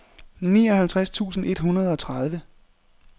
nioghalvtreds tusind et hundrede og tredive